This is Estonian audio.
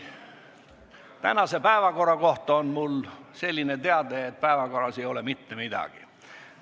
Tänase päevakorra kohta on mul selline teade, et päevakorras ei ole mitte midagi.